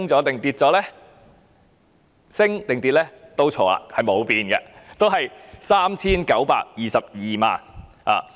認為上升或下跌的都猜錯，因為是沒有變的，依然是 3,922 萬元。